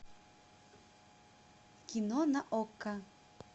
кино на окко